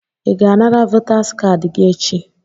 Ị ga-anara votaas kaadị gị echi?